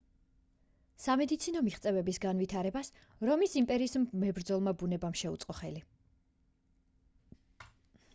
სამედიცინო მიღწევების განვითარებას რომის იმპერიის მებრძოლმა ბუნებამ შეუწყო ხელი